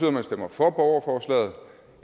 at man stemmer for borgerforslaget